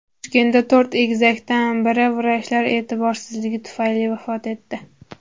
Toshkentda to‘rt egizakdan biri vrachlar e’tiborsizligi tufayli vafot etdi.